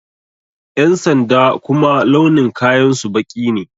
Ƴan sanda kuma launin kayan su baƙi ne